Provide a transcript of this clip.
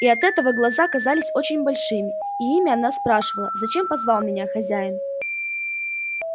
и от этого глаза казались очень большими и ими она спрашивала зачем позвал меня хозяин